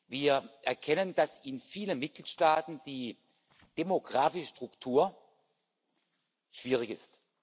Wir erkennen, dass in vielen Mitgliedstaaten die demografische Struktur schwierig ist.